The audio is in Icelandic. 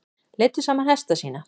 Leiddu saman hesta sína